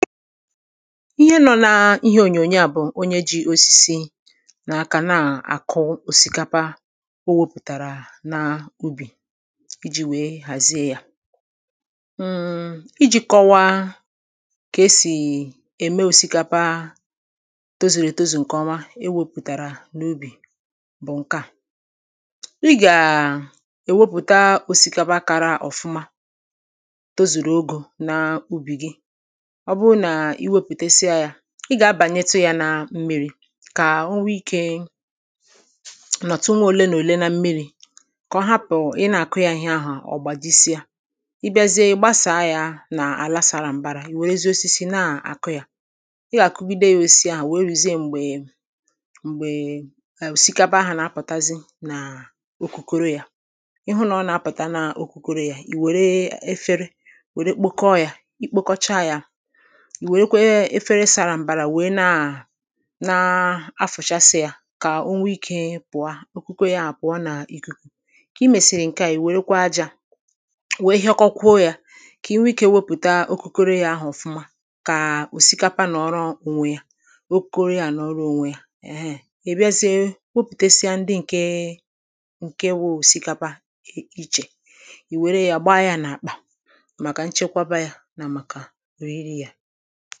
ihe nọ̀ n’ihe ònyòònyò a bụ̀ onye ji osisi n’aka nà-àkụ òsikapa o wōpùtàrà n’ubì íjī wee hàzìe ya ijī kọwaa kà e sì ème òsikapa tozuru ètozù ǹkèọma e wōpùtàrà n’ubì bụ̀ ǹkè a ị gà è wopùta òsikapa kara òfuma tozuru ogō n’ubì gi ọ bụrụ na iwopùtesia ya i gà-abìànyètū ya na mmirī kà o nwee ikē n’ọtụ nwa òle nà òle na mmirī kà ọ hapụ ị nà-àkụ ya ihe ahà ọ gbàjísíé ị biazìe ị̀ gbasaa ya n’àlà sara m̀bara ì wèrezi osisi nà-àkụ ya ị gà-àkụgide osisi àhụ wèe ruzìe m̀gbè m̀gbè òsikapa ahà nà-apụ̀tazi n’okùkoro ya ị hụ nà ọ nà-apụ̀ta n’okpokoro ya ì wère efere wère kpokoo ya i kpokochaa ya ì wèrekwe efere sara mbara wee na na-àfụ̀chasị ya kà onwee ikē pụ̀a okuko ya pụ̀a n’ìkùkù kà imèsìrì ǹkè a ì wèrekwe ajā wee hịọkọkwuo ya kà i nwee ikē wepụ̀ta okukoro àhụ ọ̀fụ̀ma kà òsikapa nọ̀ọrọ ònwe ya kà okukoro ya nọ̀ọrọ ònwe ya èhe: ị biazìe wepùtesìa ndi ǹkè ǹkè wụ̀ òsikapa ichè ì wère ya gbaa ya ǹ’àkpà màkà nchekwaba ya nà òriri ya